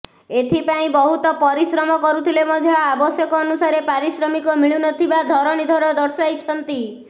ଏଥିପାଇଁ ବହୁତ ପରିଶ୍ରମ କରୁଥିଲେ ମଧ୍ୟ ଆବଶ୍ୟକ ଅନୁସାରେ ପାରିଶ୍ରମିକ ମିଳୁନଥିବା ଧରଣୀଧର ଦର୍ଶାଇଛନ୍ତି